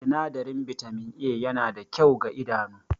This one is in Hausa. Sinadarin Bitamin A yana da kyau ga idanu